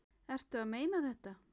Ertu að meina þetta?